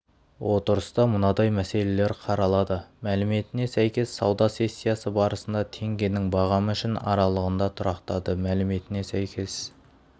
отырыста мынадай мәселелер қаралады мәліметіне сәйкес сауда сессиясы барысында теңгенің бағамы үшін аралығында тұрақтады мәліметіне сәйкес